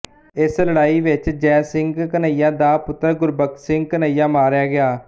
ਇਸ ਲੜਾਈ ਵਿੱਚ ਜੈ ਸਿੰਘ ਕਨ੍ਹੱਈਆ ਦਾ ਪੁੱਤਰ ਗੁਰਬਖਸ਼ ਸਿੰਘ ਕਨ੍ਹੱਈਆ ਮਾਰਿਆ ਗਿਆ